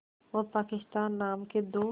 और पाकिस्तान नाम के दो